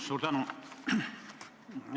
Suur tänu!